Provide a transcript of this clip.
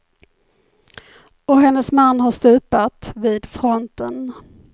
Och hennes man har stupat, vid fronten.